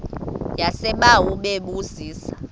yasebawa bebu zisa